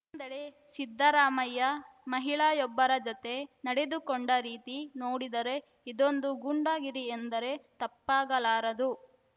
ಇನ್ನೊಂದೆಡೆ ಸಿದ್ದರಾಮಯ್ಯ ಮಹಿಳಾಯೊಬ್ಬರ ಜತೆ ನಡೆದುಕೊಂಡ ರೀತಿ ನೋಡಿದರೆ ಇದೊಂದು ಗೂಂಡಾಗಿರಿ ಎಂದರೆ ತಪ್ಪಾಗಲಾರದು